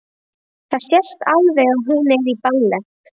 Það sést alveg að hún er í ballett.